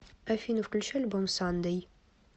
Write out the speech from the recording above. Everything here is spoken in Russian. афина включи альбом сандэй